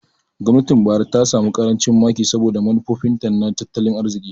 Gwamnatin Buhari ta samu ƙarancin maki saboda manufofinta na tattalin arziki.